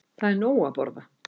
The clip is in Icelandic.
Það er nóg að borða.